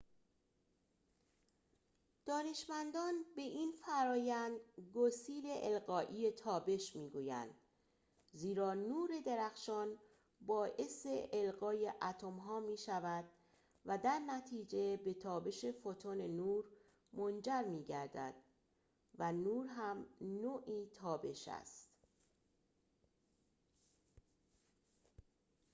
دانشمندان به این فرآیند گسیل القایی تابش می‌گویند زیرا نور درخشان باعث القای اتم‌ها می‌شود و درنتیجه به تابش فوتون نور منجر می‌گردد و نور هم نوعی تابش است